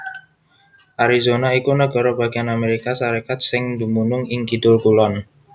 Arizona iku nagara bagéyan Amérika Sarékat sing dumunung ing kidul kulon